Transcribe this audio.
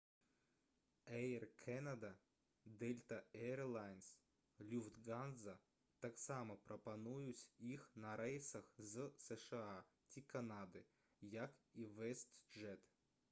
«эйр кэнада» «дэльта эйрлайнс» «люфтганза» таксама прапануюць іх на рэйсах з сша ці канады як і «вэстджэт»